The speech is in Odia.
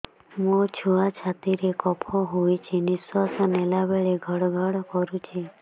ମୋ ଛୁଆ ଛାତି ରେ କଫ ହୋଇଛି ନିଶ୍ୱାସ ନେଲା ବେଳେ ଘଡ ଘଡ କରୁଛି